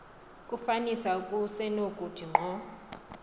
kufanisa kusenokuthi ngqo